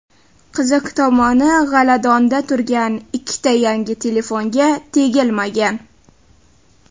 Qiziq tomoni, g‘aladonda turgan ikkita yangi telefonga tegilmagan.